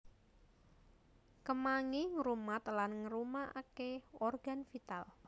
Kemangi ngrumat lan ngarumaké organ vital